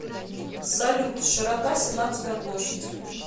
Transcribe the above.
салют широта сенатская площадь